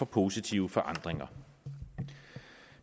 positive forandringer